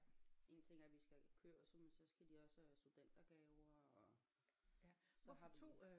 En ting er vi skal jo kørsel men så skal de også have studentergaver og så har vi